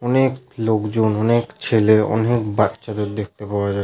অনেক লোকজন অনেক ছেলে অনেক বাচ্চাদের দেখতে পাওয়া যা--